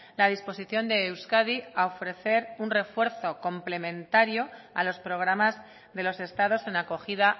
la disposición de euskadi a ofrecer un refuerzo complementario a los programas de los estados en acogida